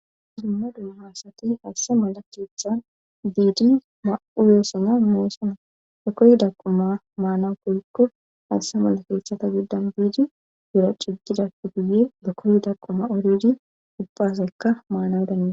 Zupmma duumhaasati haasse malakeethan diidi ma7u yeessana meessana dekoyi daquma maanawu kolkko haasse malakeethata giddan biidi gura ciggidappe guye dekoy daaquma oredi ubbazakka maanawu dana